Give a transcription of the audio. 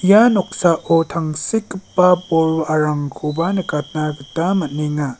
ia noksao tangsekgipa bol wa·arangkoba nikatna gita man·enga.